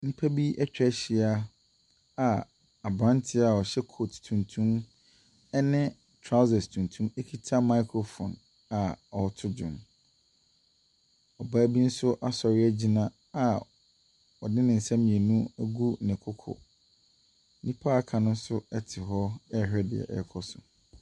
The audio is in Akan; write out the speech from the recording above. Nnipa bi ɛtwahyia a abranteɛ a ɔhyɛ coat tuntum ɛne trousers tuntum ekita microphone a ɔreto dwom. Ɔbaa bi nso asɔre egyina a ɔde ne nsa mmienu agu ne kokɔ. Nnipa aka no ɛnso te hɔ ɛrehwɛ nea ɛrekɔ so.